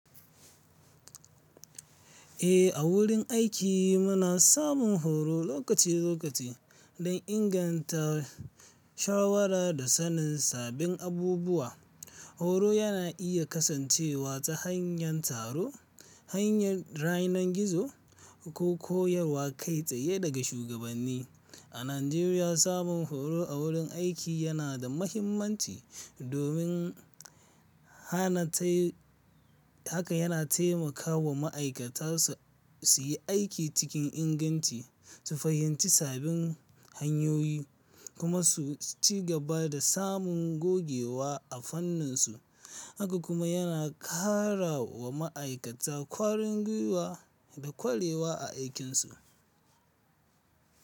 Eh, a wurin aiki muna samun horo lokaci lokaci don inganta shawara da sanin sabbin abubuwa. Horo yana iya kasancewa ta hanyar taro, hanyar rainon gizo, ko koyarwa kai tsaye daga shugabanni. A Najeriya, samun horo a wurin aiki yana da mahimmanci domin hanatai. Haka yana taimakawa ma'aikata su yi aiki cikin inganci, su fahimci sabbin hanyoyi kuma su ci gaba da samun gogewa a fanninsu. Haka kuma yana ƙara wa ma'aikata ƙwarin gwiwa da ƙwarewa a aikinsu.